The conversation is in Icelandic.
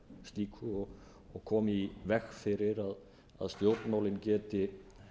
fyrir slíku og koma í veg fyrir að stjórnmálin geti